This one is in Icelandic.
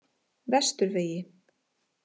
Vesturvegi